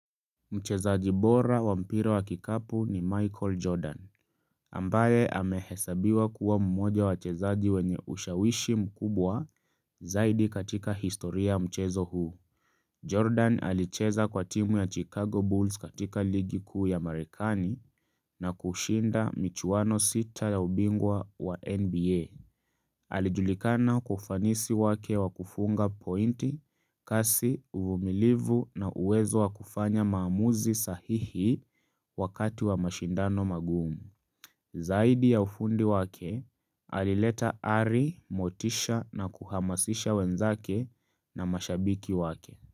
Mchezaji bora wa mpira wa kikapu ni Michael Jordan ambaye amehesabiwa kuwa mmoja wa wachezaji wenye ushawishi mkubwa zaidi katika historia ya mchezo huu Jordan alicheza kwa timu ya Chicago Bulls katika ligi kuu ya marekani na kushinda michuwano sita ya ubingwa wa NBA Alijulikana kwa ufanisi wake wa kufunga pointi kasi uvumilivu na uwezo wakufanya maamuzi sahihi wakati wa mashindano magumu. Zaidi ya ufundi wake, alileta ari motisha na kuhamasisha wenzake na mashabiki wake.